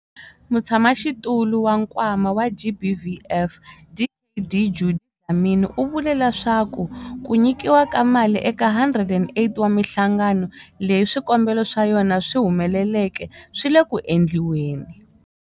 Mutshamaxitulu wa Nkwama wa GBVF, Dkd Judy Dlamini, u vule leswaku ku nyikiwa ka mali eka 108 wa mihlangano leyi swikombelo swa yona swi humeleleke swi le ku endliweni.